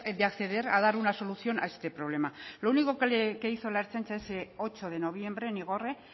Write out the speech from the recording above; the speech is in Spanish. de acceder a dar una solución a este problema lo único que hizo la ertzaintza ese ocho de noviembre en igorre